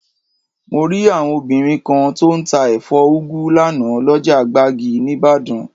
Mo rí àwọn obìnrin kan tó ń tà ẹ̀fọ́ úgu lánàá, lọ́jà gbági níbàdàn